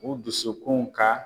O dusukun ka